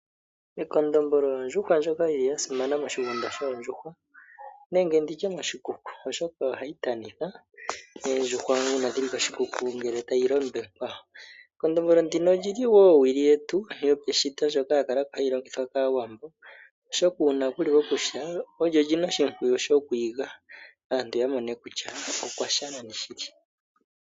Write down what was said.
Ekondombolo ondjuhwa ndjoka yili yasimana moshigunda shoondjuhwa nenge nditye moshikuku oshoka oyo hayi tanitha oondjuhwa uuna dhili koshikuku ngele tayi londekwa. Ekondombolo ndino olili wo owili yetu yo peshito ndjoka ya kalo ko hayi longithwa kAawambo, oshoka uuna kuli pokusha olyo lina oshimpwiyu shoku iga, aantu ya mone kutya okwasha nani shili.